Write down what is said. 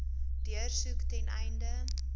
deursoek ten einde